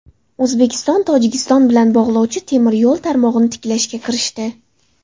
O‘zbekiston Tojikiston bilan bog‘lovchi temir yo‘l tarmog‘ini tiklashga kirishdi.